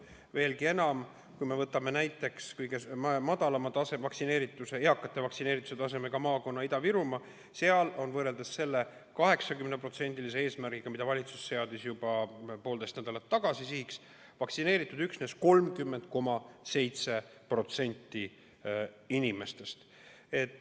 Veelgi enam, kui me võtame näiteks kõige madalama eakate vaktsineerituse tasemega maakonna Ida-Virumaa, siis seal on võrreldes selle 80% eesmärgiga, mille valitsus seadis juba poolteist nädalat tagasi sihiks, vaktsineeritud üksnes 30,7% inimestest.